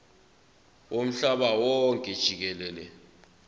womhlaba wonke jikelele